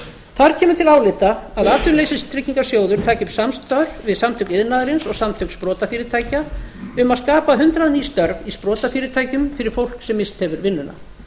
þar kemur til álita að atvinnuleysistryggingasjóður taki upp samstarf við samtök iðnaðarins og samtök sprotafyrirtækja um að skapa hundrað ný störf í sprotafyrirtækjum fyrir fólk sem misst hefur vinnuna